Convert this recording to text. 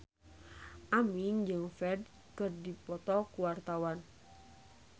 Aming jeung Ferdge keur dipoto ku wartawan